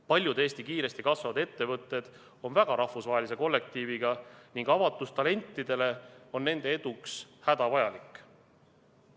Paljud Eesti kiiresti kasvavad ettevõtted on väga rahvusvahelise kollektiiviga ning avatus talentidele on nende eduks hädavajalik.